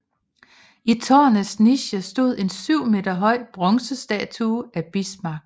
I tårnets niche stod en 7 meter høj bronzestatue af Bismarck